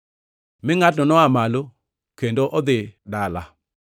Mi ngʼatno noa malo kendo odhi dala.